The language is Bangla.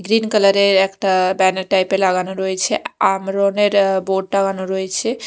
গ্রীন কালার -এর একটা ব্যানার টাইপ -এর লাগানো রয়েছে আ-আমরনের বোর্ড টাঙানো রয়েছে।